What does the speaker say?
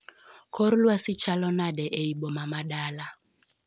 Kor lwasi chalo nade ei boma ma Dala